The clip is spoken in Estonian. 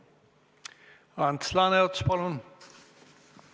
Ants Laaneots, palun!